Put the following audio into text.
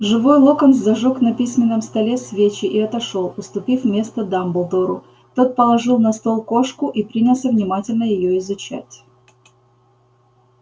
живой локонс зажёг на письменном столе свечи и отошёл уступив место дамблдору тот положил на стол кошку и принялся внимательно её изучать